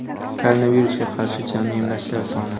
Koronavirusga qarshi jami emlashlar soni:.